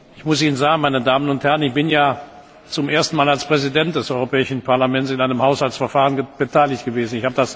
Ich bin ja zum ersten Mal als Präsident des Europäischen Parlaments an einem Haushaltsverfahren beteiligt gewesen